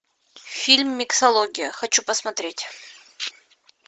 фильм миксология хочу посмотреть